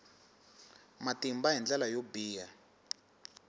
matimba hi ndlela yo biha